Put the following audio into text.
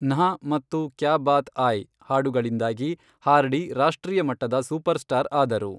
ನ್ಹಾ ಮತ್ತು ಕ್ಯಾ ಬಾತ್ ಆಯ್ ಹಾಡುಗಳಿಂದಾಗಿ ಹಾರ್ಡಿ ರಾಷ್ಟ್ರೀಯ ಮಟ್ಟದ ಸೂಪರ್ ಸ್ಟಾರ್ ಆದರು.